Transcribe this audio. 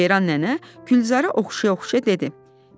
Ceyran nənə Gülzarı oxşaya-oxşaya dedi.